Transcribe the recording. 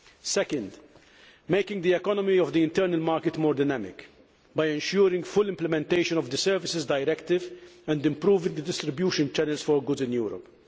Secondly, make the economy of the internal market more dynamic by ensuring full implementation of the Services Directive and improving the distribution channels for goods in Europe